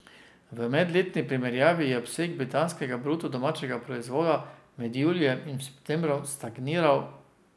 V medletni primerjavi je obseg britanskega bruto domačega proizvoda med julijem in septembrom stagniral.